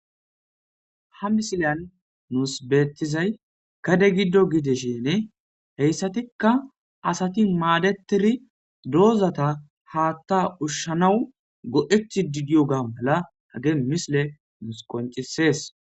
ha misileyan nuus beettizay gade giddo gidishin heyssatikka asati maadetiri doozata haatta ushshanawu go'etid diyoga mala hage misile nuus qoncisees